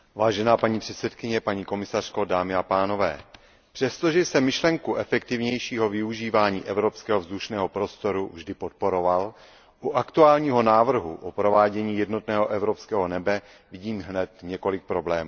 Paní předsedající, paní komisařko, přestože jsem myšlenku efektivnějšího využívání evropského vzdušného prostoru vždy podporoval, u aktuálního návrhu o provádění jednotného evropského nebe vidím hned několik problémů.